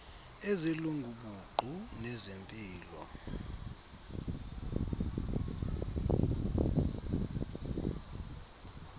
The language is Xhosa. ezelungu buqu nezempilo